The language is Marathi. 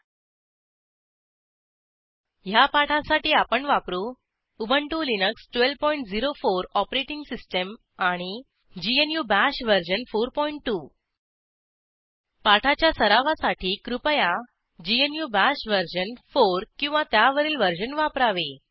httpwwwspoken tutorialorg ह्या पाठासाठी आपण वापरू उबंटु लिनक्स 1204 ओएस आणि ग्नू बाश वर्जन 42 पाठाच्या सरावासाठी कृपया ग्नू बाश वर्जन 4 किंवा त्यावरील वर्जन वापरावे